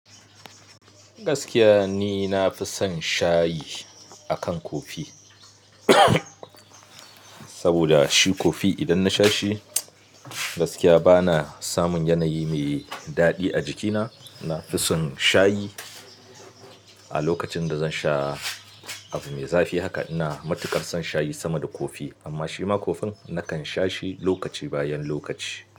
Gaskiya ni na fi son shayi akan kofi saboda shi kofi idan na sha shi, gaskiya ba na samun yanayi mai daɗi a jikina. Na fi son shayi a lokacin da zan sha abu mai zafi haka ina matukar son shayi sama da kofi amma shima kofin nakan sha shi lokaci bayan lokaci.